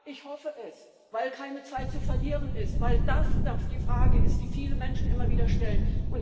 Ja, ich hoffe es, weil keine Zeit zu verlieren ist, weil das da die Frage ist, die viele Menschen immer wieder stellen.